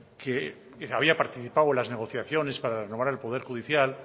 que había participado en las negociaciones para renovar el poder judicial